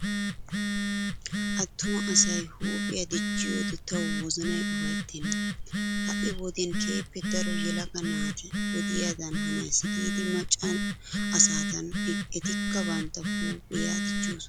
Attuma asay huuphiya dichchiyoodee tawu wozanay ufayttenna. Ha"i wodiyan keehippe daro yelaga naati wodiyaadan hanays giidi macca asaagadan etikka bantta huuphiya dichchoosona.